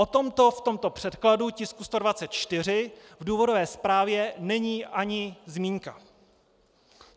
O tomto v tomto předkladu tisku 124 v důvodové zprávě není ani zmínka.